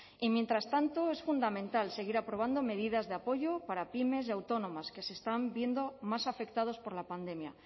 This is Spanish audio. y mientras tanto es fundamental seguir aprobando medidas de apoyo para pymes y autónomas que se están viendo más afectados por la pandemia